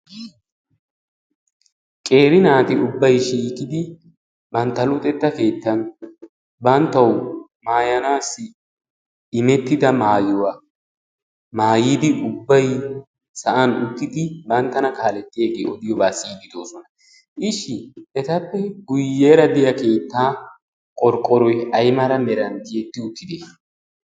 Qeeri naati ubbayi shiiqidi bantta luxetta keettan banttawu maayanaassi imettida maayuwa maayidi ubbayi sa'an uttidi banttana kaalettiyagee odiyobaa siyiiddi de'oosona. Ishshi etappe guyyeera diya keettaa qorqqoroyi ay mala meran tiyetti ettidee?